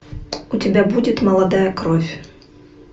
у тебя будет молодая кровь